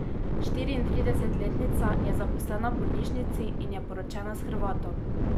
Štiriintridesetletnica je zaposlena v bolnišnici in je poročena s Hrvatom.